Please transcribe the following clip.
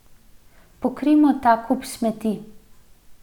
Pokrijmo ta kup smeti.